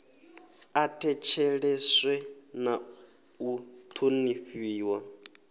a thetsheleswe na u thonifhiwa